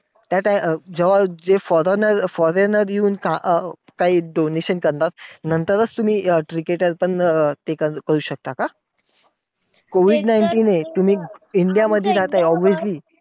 त्या time जेव्हा जे foreigner foreigner येऊन अं काम काही donation करतात. नंतरच तुम्ही अं cricketer पण ते करू शकतात का? COVID nineteen हे तुम्ही इंडिया मध्ये राहता obviously